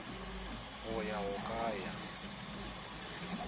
go ya go ka ya